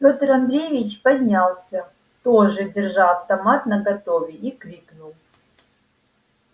пётр андреевич поднялся тоже держа автомат наготове и крикнул